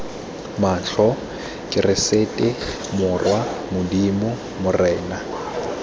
matlho keresete morwa modimo morena